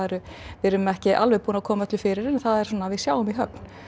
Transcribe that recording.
við erum ekki alveg búin að koma öllu fyrir en það er svona við sjáum í höfn